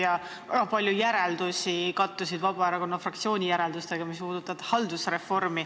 Väga paljud haldusreformi puudutavad järeldused kattusid Vabaerakonna fraktsiooni järeldustega.